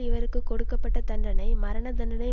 இவருக்கு கொடுக்க பட்ட தண்டனை மரண தண்டனை